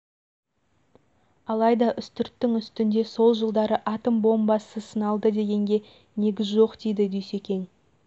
алайда үстірттің үстінде сол жылдары атом бомбасы сыналды дегенге негіз жоқ дейді дүйсекең